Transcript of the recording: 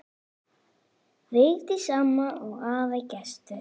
Vigdís amma og afi Gestur.